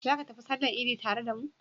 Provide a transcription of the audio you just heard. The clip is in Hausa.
Za ka tafi sallar idi tare da mu?